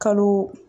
Kalo